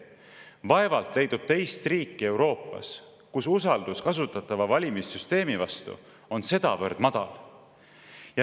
Vaevalt leidub teist riiki Euroopas, kus usaldus kasutatava valimissüsteemi vastu on sedavõrd madal.